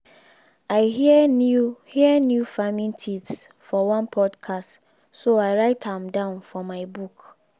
i hear new hear new farming tips for one podcast so i write am down for my book